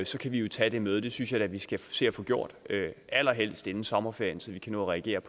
så kan vi jo tage det møde det synes jeg da vi skal se at få gjort allerhelst inden sommerferien så vi kan nå at reagere